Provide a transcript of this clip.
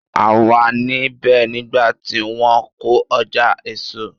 A wà ní bẹ̀ nígbà tí wọ́n kọ́ ọjà èso.